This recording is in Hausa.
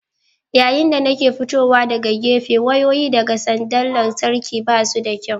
Yayin da nake fitowa daga gefe wayoyi daga sandar lantarki ba su da kyau.